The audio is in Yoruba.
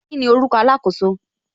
Kíni orúkọ alakoso